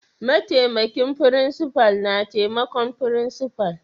Ma'taimakin frincipa na taimakon frincipa'n.